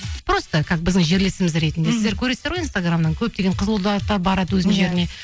просто как біздің жерлесіміз ретінде сіздер көресіздер ғой инастграмнан көптеген қызылордалықтар барады өзінің жеріне